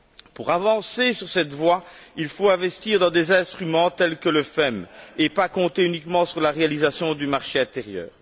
Pour avancer sur cette voie, il faut investir dans des instruments tels que le FEM et ne pas compter uniquement sur la réalisation du marché intérieur.